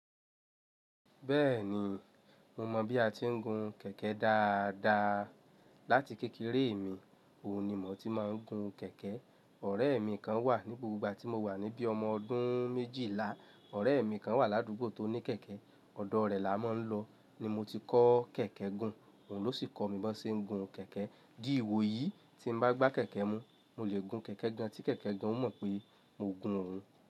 Bẹ́ẹ̀ni, mo mọ̀ bí a ti ń gun kẹ̀kẹ́ dáadáa. Láti kékeré mi, òun ni mò tí máa ń gun kẹ̀kẹ́. Ọ̀rẹ́ mi kan wà ní gbogbo ìgbà tí mo wà níbí, ọmọ ọdún méjìlá. Ọ̀rẹ́ mi kan wà ládùúgbò tó ní kẹ̀kẹ́, ọ̀dọ́ rẹ̀ la máa ń lọ ni mo ti kọ́ kẹ̀kẹ́ gun. Òun ló sì kọ́ mi bó ṣe ń gun kẹ̀kẹ́. Dí ìwò yìí, tí n bá gbá kẹ̀kẹ́ mú, mo lè gun kẹ̀kẹ́ gan tí kẹ̀kẹ́ gan ò mọ̀ pé mò ń gun òun.